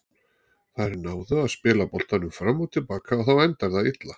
Þær náðu að spila boltanum fram og til baka og þá endar það illa.